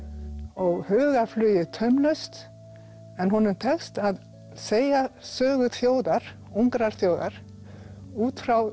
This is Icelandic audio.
og hugarflugið taumlaust en honum tekst að segja sögu þjóðar ungrar þjóðar út frá